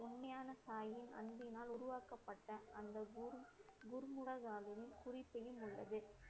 அன்பினால் உருவாக்கப்பட்ட அந்த உள்ளது